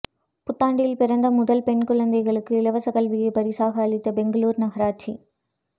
புத்தாண்டில் பிறந்த முதல் பெண் குழந்தைக்கு இலவச கல்வியை பரிசாக அளித்த பெங்களூரு நகராட்சி